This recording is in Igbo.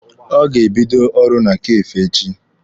Ọ ga-ebido ọrụ na Kafee echi.